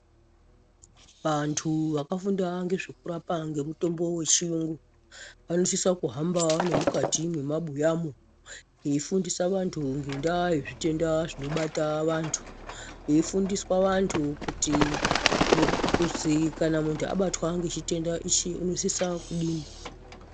Vantu vakafunda ngezvekurapa ngemutombo wechiyungu, vanosisa kuhamba nemukati mwemabuyamo, veyifundisa vantu ngendaa yezvitenda zvinobata vantu, veyifundiswa vantu kuzi kana muntu abatwa ngechitenda ichi unosisa kudini.